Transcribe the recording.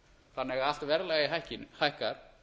þannig að allt verðlag hækkar